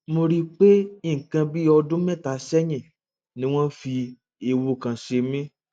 mo rí i pé nǹkan bí ọdún mẹta sẹyìn ni wọn fi ẹwù kan ṣe mí